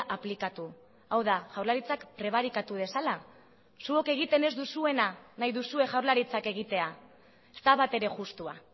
aplikatu hau da jaurlaritzak prebarikatu dezala zuok egiten ez duzuena nahi duzue jaurlaritzak egitea ez da batere justua